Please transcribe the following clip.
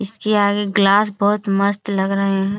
इसके आगे ग्लास बहुत मस्त लग रहे है।